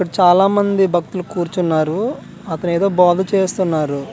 ఇక్కడ చాలా మంది భక్తులు కూర్చున్నారు అతను ఏదో బాగు చేస్తున్నారు .]